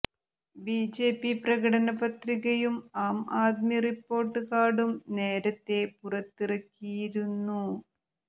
BJP പ്രകടന പത്രികയും Aam Aadmi report കാർഡും നേരത്തെ പുറത്തിറക്കിയിരുന്നു